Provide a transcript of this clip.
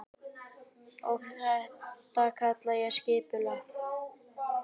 Og þetta kalla ég skipulag.